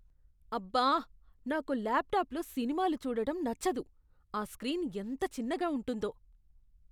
అబ్బా. నాకు ల్యాప్టాప్లో సినిమాలు చూడటం నచ్చదు. ఆ స్క్రీన్ ఎంత చిన్నగా ఉంటుందో.